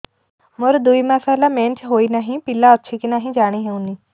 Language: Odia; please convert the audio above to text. ମୋର ଦୁଇ ମାସ ହେଲା ମେନ୍ସେସ ହୋଇ ନାହିଁ ପିଲା ଅଛି କି ନାହିଁ ଜାଣି ହେଉନି